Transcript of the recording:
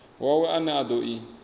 wawe ane a do i